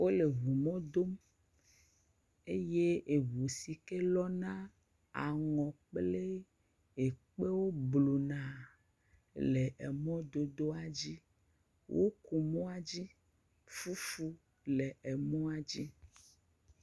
wóle ʋu mɔ dom eye ʋu sike lɔ́na aŋɔ kplɛ ekpe wó bluna le emɔ dodoa dzi wó ku mɔdodoa dzi eye fúfu le emɔa dzi